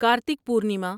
Kartik Purnima